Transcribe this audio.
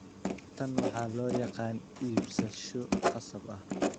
Tan waxa loo yaqaan iibsasho khasab ah.